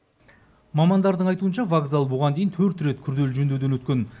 мамандардың айтуынша вокзал бұған дейін төрт рет күрделі жөндеуден өткен